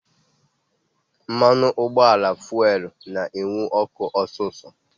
Mmanụ ụgbọala fuelu na-enwu ọkụ osisọ